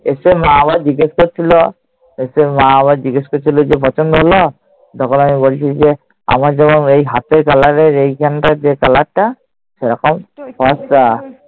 এসে মা আবার জিজ্ঞেস করছিল। এসে মা আবার জিজ্ঞেস করছিল যে পছন্দ হল? তখন আমি বলছি যে আমার যেরম এই হাতের colour এর এইখানটার যে colour টা, সেরকম ফর্সা।